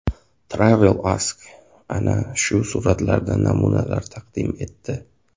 TravelAsk ana shu suratlardan namunalar taqdim etdi .